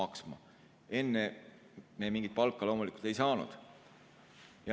Varem me mingit palka loomulikult ei saanud.